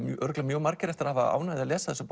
örugglega margir eftir að hafa ánægju af að lesa